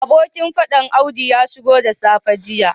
Abokin fadan audu ya shigo da safe jiya